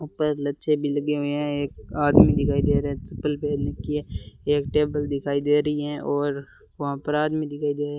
ऊपर लच्छे भी लगे हुए हैं एक आदमी दिखाई दे रहा है चप्पल पहन रखी है एक टेबल दिखाई दे रही हैं और वहां पर आदमी दिखाई दे रहे --